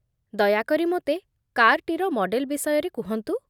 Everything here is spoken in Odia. ଦୟାକରି ମୋତେ କାର୍‌ଟିର ମଡେଲ୍ ବିଷୟରେ କୁହନ୍ତୁ।